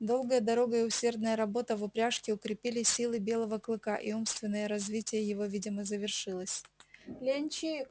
долгая дорога и усердная работа в упряжке укрепили силы белого клыка и умственное развитие его видимо завершилось ленчик